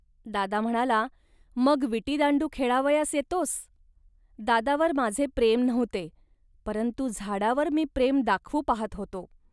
.दादा म्हणाला, "मग विटीदांडू खेळावयास येतोस. दादावर माझे प्रेम नव्हते, परंतु झाडावर मी प्रेम दाखवू पाहात होतो